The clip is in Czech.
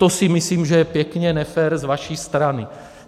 To si myslím, že je pěkně nefér z vaší strany.